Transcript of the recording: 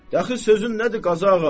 Yaxşı, sözün nədir Qazıağa?